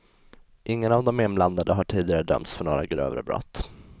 Ingen av de inblandade har tidigare dömts för några grövre brott.